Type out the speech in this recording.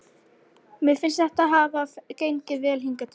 Mér finnst þetta hafa gengið vel hingað til.